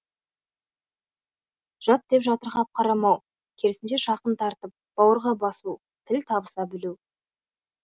жат деп жатырқап қарамау керісінше жақын тартып бауырға басу тіл табыса білу